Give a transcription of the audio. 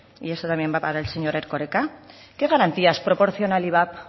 y eso también va para el señor erkoreka qué garantías proporciona el ivap